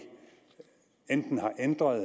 enten har ændret